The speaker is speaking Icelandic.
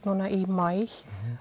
núna í maí